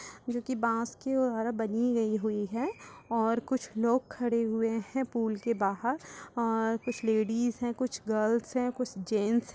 जो कि बांस की और हरा बनी गई हुई है और कुछ लोग खड़े हुए हैं पुल के बाहर और कुछ लेडीज है कुछ गर्ल्स हैं कुछ जेन्स